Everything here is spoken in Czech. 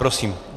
Prosím.